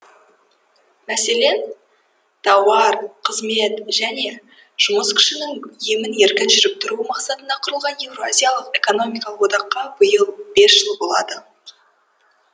мәселен тауар қызмет және жұмыс күшінің емін еркін жүріп тұруы мақсатында құрылған еуразиялық экономикалық одаққа биыл бес жыл болады